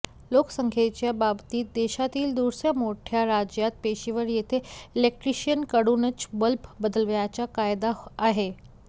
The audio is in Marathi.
लोकसंख्येच्या बाबतीत देशातील दूसर्या मोठ्या राज्यात पेशेवर येथे इलेक्ट्रिशियनकडूनच बल्ब बदलवायचा कायदा आहे